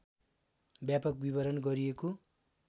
व्यापक विवरण गरिएको